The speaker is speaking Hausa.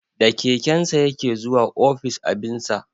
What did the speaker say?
Da kekensa ya ke zuwa office abinsa